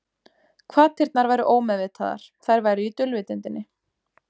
Hvatirnar væru ómeðvitaðar, þær væru í dulvitundinni.